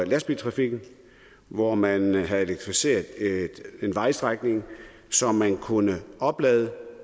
lastbiltrafikken hvor man havde elektrificeret en vejstrækning så man kunne oplade